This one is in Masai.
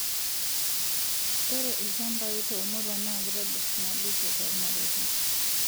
Ore ilachambaii to muruan naa kitobir naboishoo tolmareta